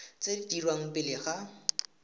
tse di dirwang pele ga